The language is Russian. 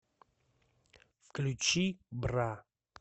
включи бра